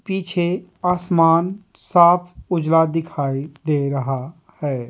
पीछे आसमान साफ उजला दिखाई दे रहा है।